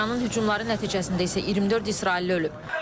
İranın hücumları nəticəsində isə 24 israilli ölüb.